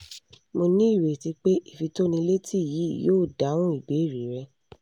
mo ní ìrètí pé ìfitónilétí yìí yóò dáhùn ìbéèrè rẹ